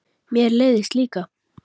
Mér leiðist líka.